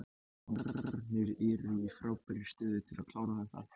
Valsararnir eru í frábærri stöðu til að klára þetta.